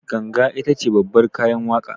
Ganga itace babbar kayan waƙa